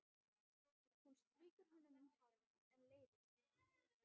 Hún strýkur honum um hárið en leiðist það.